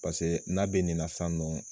Paseke n'a bɛ nin na sisan nɔ